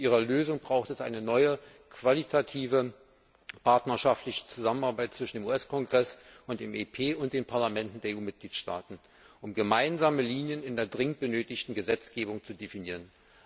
Zu ihrer Lösung bedarf es einer neuen qualitativen partnerschaftlichen Zusammenarbeit zwischen dem US Kongress, dem EP und den Parlamenten der EU Mitgliedstaaten, um gemeinsame Linien in der dringend benötigten Gesetzgebung zu definieren.